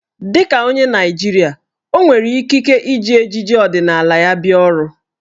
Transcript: Dị ka onye Naịjirịa, o nwere ikike iji ejiji ọdịnaala ya bịa ọrụ.